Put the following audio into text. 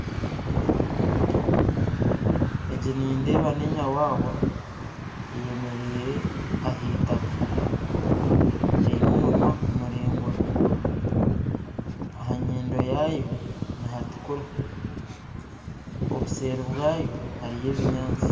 Egi nindeeba nenyawawa eyemereire aheitaka eyine omunwa muraingwa ahanyindo yaayo nihatukura obuseeri bwayo hariyo obunyasi